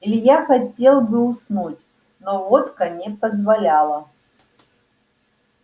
илья хотел бы уснуть но водка не позволяла